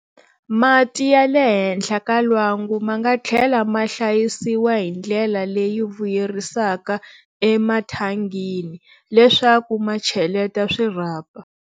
Mati ya le henhla ka lwangu ma nga tlhela ma hlayisiwa hi ndlela leyi vuyerisaka emathangini, leswaku ma cheleta swirhapa.